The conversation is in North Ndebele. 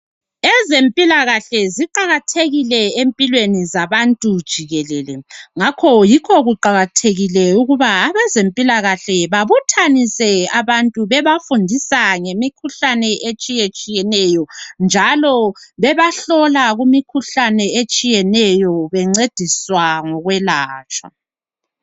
Ezempilakahle ziqakathekile empilweni zabantu jikelele ngakho yikho kuqakathekile ukuba abezempilakahle babuthanise abantu bebafundisa ngemikhuhlane etshiyetshiyeneyo njalo bebahlola kumikhuhlane etshiyeneyo bencediswa ngokwelatshwa.